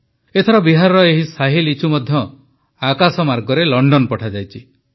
ଏଥର ବିହାରର ଏହି ଶାହି ଲିଚୁ ମଧ୍ୟ ଆକାଶମାର୍ଗରେ ଲଣ୍ଡନ ପଠାଯାଇଛି